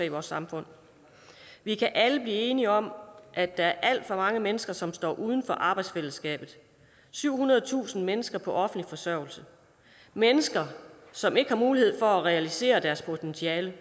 i vores samfund vi kan alle blive enige om at der er alt for mange mennesker som står uden for arbejdsfællesskabet syvhundredetusind mennesker på offentlig forsørgelse mennesker som ikke har mulighed for at realisere deres potentiale